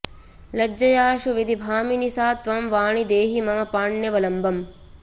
लज्जयाऽऽशु विधिभामिनि सा त्वं वाणि देहि मम पाण्यवलम्बम्